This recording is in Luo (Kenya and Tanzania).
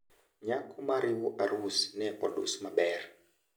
Nyako mariwo arus ne odus maber.